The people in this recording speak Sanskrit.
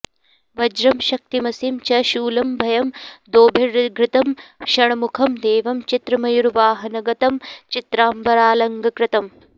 वज्रं शक्तिमसिं च शूलमभयं दोर्भिर्धृतं षण्मुखं देवं चित्रमयूरवाहनगतं चित्राम्बरालङ्कृतम्